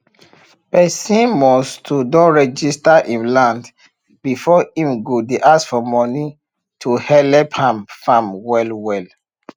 pesin must to don register him land before him go dey ask for moni to helep am farm well well